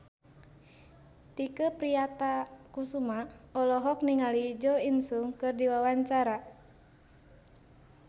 Tike Priatnakusuma olohok ningali Jo In Sung keur diwawancara